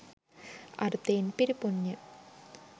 අර්ථයෙන් පිරිපුන්ය.